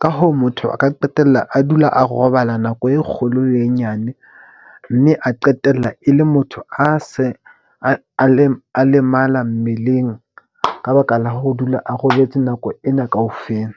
Ka hoo, motho a ka qetella a dula a robala nako e kgolo le e nyane. Mme a qetella e le motho a se a lemala mmeleng ka baka la ho dula a robetse nako ena kaofela.